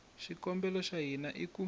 xikongomelo xa hina i ku